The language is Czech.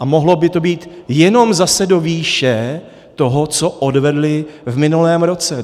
A mohlo by to být jenom zase do výše toho, co odvedly v minulém roce.